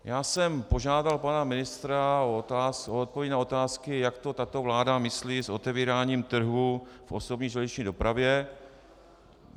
Já jsem požádal pana ministra o odpovědi na otázky, jak to tato vláda myslí s otevíráním trhu v osobní železniční dopravě.